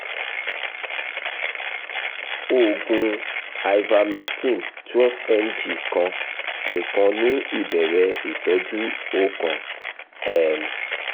oògùn ivermectin 12 mg kan nikan ni ibẹrẹ itọju o kan um